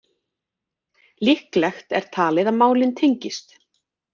Líklegt er talið að málin tengist